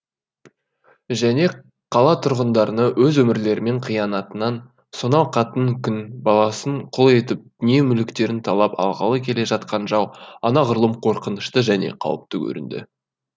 және қала тұрғындарына өз өмірлерінің қиянатынан сонау қатынын күң баласын құл етіп дүние мүліктерін талап алғалы келе жатқан жау анағұрлым қорқынышты және қауіпті көрінді